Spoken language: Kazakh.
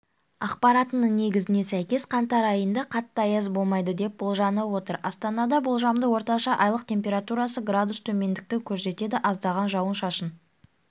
ақпаратының негізіне сәйкес қаңтар айында қатты аяз болмайды деп болжанып отыр астанада болжамды орташа айлық температурасы градус төмендікті көрсетеді аздаған жауын-шашын